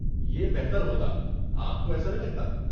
یہ بہتر ہوتا، آپ کو ایسا نہیں لگتا۔